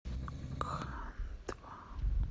кхандва